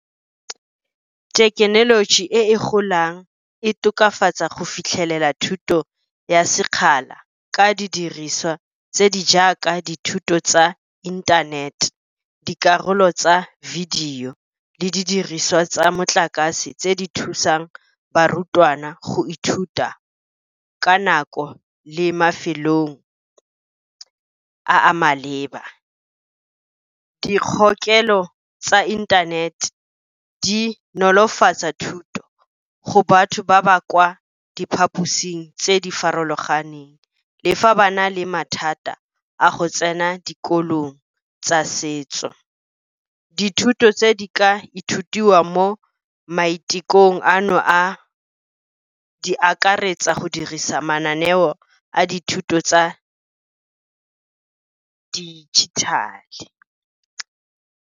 Thekenoloji e e golang e tokafatsa go fitlhelela thuto ya sekgala ka didiriswa tse di jaaka dithuto tsa inthanete. Dikarolo tsa video le didiriswa tsa motlakase, tse di thusang barutwana go ithuta ka nako le mafelong a a maleba. Dikgokelo tsa inthanete di nolofatsa thuto go batho ba ba kwa diphaposing tse di farologaneng, le fa ba na le mathata a go tsena dikolong tsa setso. Dithuto tse di ka ithutiwa mo maitekong ano a di akaretsa go dirisa mananeo a dithuto tsa digital-e.